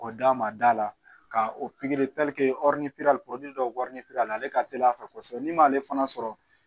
K'o d'a ma da la ka o pikiri dɔ la ale ka teli a fɛ kosɛbɛ n'i m'ale fana sɔrɔ